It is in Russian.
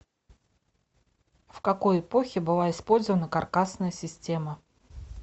в какой эпохе была использована каркасная система